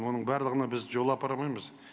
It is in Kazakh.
оның барлығына біз жол апармаймыз